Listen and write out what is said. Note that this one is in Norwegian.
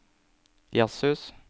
jazzhus